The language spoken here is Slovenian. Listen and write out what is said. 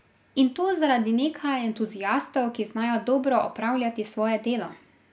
In to zaradi nekaj entuziastov, ki znajo dobro opravljati svoje delo.